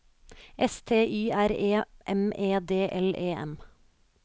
S T Y R E M E D L E M